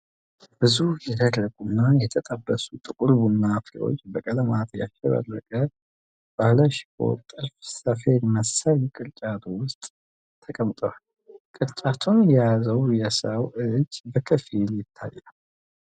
ብዙ የደረቁና የተጠበሱ ጥቁር ቡና ፍሬዎች በቀለማት ያሸበረቀ ባለሽቦ ጥልፍ ሰፌድ መሰል ቅርጫት ውስጥ ተቀምጠዋል። ቅርጫቱን የያዘው የሰው እጅ በከፊል ይታያል።